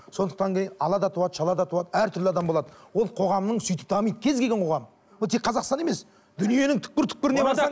сондықтан ала да туады шала да туады әртүрлі адам болады ол қоғамның сөйтіп дамиды кез келген қоғам ол тек қазақстан емес дүниенің түпкір түпкіріне